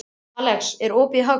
Axelía, er opið í Hagkaup?